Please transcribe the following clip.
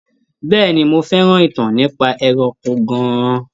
Bẹ́ẹ̀ni, mo fẹ́ràn ìtàn nípa ẹranko gan-an.